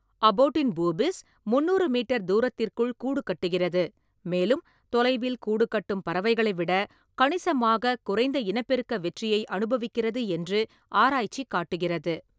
அபோட்டின் boobies, முந்நூறு metre தூரத்திற்குள் கூடுகட்டுகிறது, மேலும் தொலைவில் கூடு கட்டும் பறவைகளை விட கணிசமாக குறைந்த இனப்பெருக்க வெற்றியை அனுபவிக்கிறது என்று ஆராய்ச்சி காட்டுகிறது.